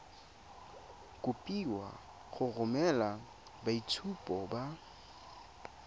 kopiwa go romela boitshupo ba